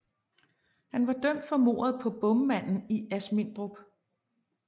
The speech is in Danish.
Han var dømt for mordet på bommanden i Asmindrup